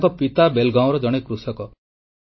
ତାଙ୍କର ପିତା ବେଲଗାଓଁର ଜଣେ କୃଷକ